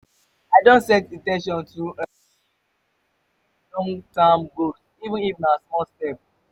i dey set in ten tion to make um progress on my long-term goals even if na small step.